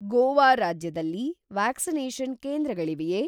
ಗೋವಾ ರಾಜ್ಯದಲ್ಲಿ ವ್ಯಾಕ್ಸಿನೇಷನ್‌ ಕೇಂದ್ರಗಳಿವೆಯೇ?